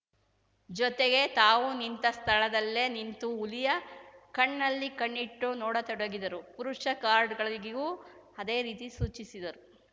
ಜೊತೆಗೆ ತಾವು ನಿಂತ ಸ್ಥಳದಲ್ಲೇ ನಿಂತು ಹುಲಿಯ ಕಣ್ಣಲ್ಲಿ ಕಣ್ಣಿಟ್ಟು ನೋಡತೊಡಗಿದರು ಪುರುಷ ಗಾರ್ಡ್‌ಗಳಿಗೂ ಅದೇ ರೀತಿ ಸೂಚಿಸಿದರು